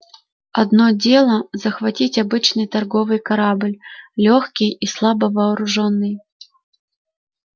одно дело захватить обычный торговый корабль лёгкий и слабо вооружённый